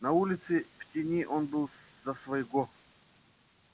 на улице в тени он был за своего